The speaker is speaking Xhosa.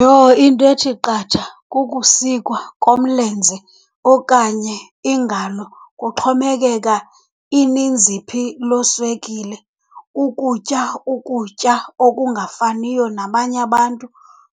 Yoh into ethi qatha kukusikwa komlenze okanye ingalo, kuxhomekeka ininzi phi loo swekile. Ukutya ukutya okungafaniyo nabanye abantu,